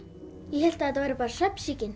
ég hélt þetta væri bara